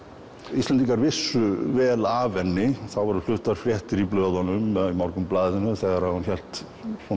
Íslendingar vissu vel af henni það voru fluttar fréttir í blöðunum Morgunblaðinu þegar hún hélt